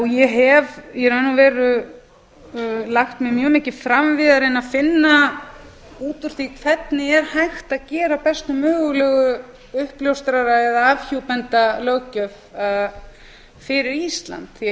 ég hef í raun og veru lagt mig mjög mikið fram við að reyna að finna út úr því hvernig er hægt að gera bestu mögulegu uppljóstrara eða afhjúpendalöggjöf fyrir ísland því að ísland